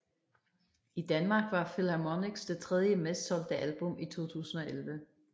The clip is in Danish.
I Danmark var Philharmonics det tredje mest solgte album i 2011